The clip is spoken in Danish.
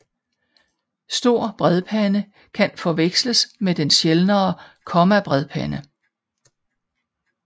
Stor bredpande kan forveksels med den sjældnere kommabredpande